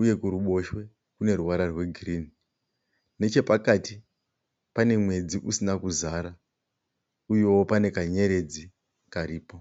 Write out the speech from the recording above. uye kuruboshwe kune ruvara rwegirini. Nechepakati pane mwedzi usina kuzara uyewo pane kanyeredzi karipo.